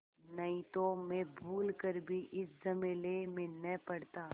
नहीं तो मैं भूल कर भी इस झमेले में न पड़ता